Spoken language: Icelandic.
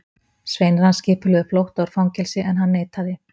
Sveinar hans skipulögðu flótta úr fangelsi, en hann neitaði.